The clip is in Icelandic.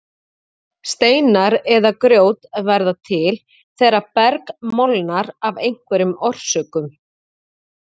Steinar eða grjót verða til þegar berg molnar af einhverjum orsökum.